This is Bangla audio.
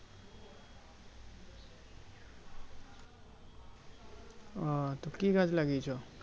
আহ তো কি গাছ লাগিয়েছ